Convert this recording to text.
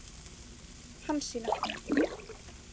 Hansína